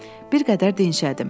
Bir qədər dinşədim.